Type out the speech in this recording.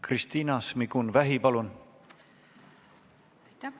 Kristina Šmigun-Vähi, palun!